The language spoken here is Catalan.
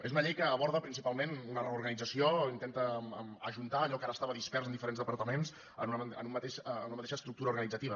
és una llei que aborda principalment una reorganització intenta ajuntar allò que ara estava dispers en diferents departaments en una mateixa estructura organitzativa